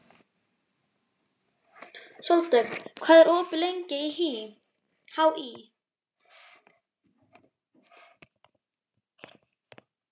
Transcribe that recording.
Sóldögg, hvað er opið lengi í HÍ?